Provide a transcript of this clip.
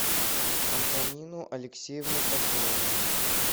антонину алексеевну хохлову